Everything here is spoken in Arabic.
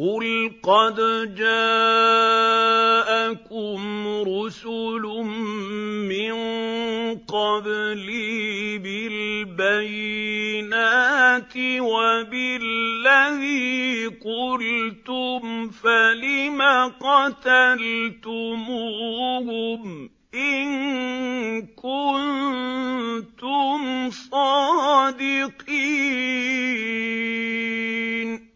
قُلْ قَدْ جَاءَكُمْ رُسُلٌ مِّن قَبْلِي بِالْبَيِّنَاتِ وَبِالَّذِي قُلْتُمْ فَلِمَ قَتَلْتُمُوهُمْ إِن كُنتُمْ صَادِقِينَ